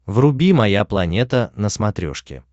вруби моя планета на смотрешке